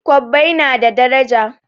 Kwabbai s na da daraja